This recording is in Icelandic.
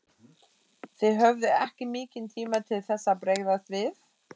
Þið höfðuð ekki mikinn tíma til þess að bregðast við?